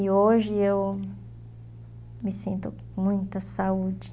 E hoje eu me sinto com muita saúde.